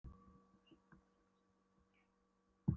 Þetta var sú aldagamla rússneska von þeirra sem ranglæti sæta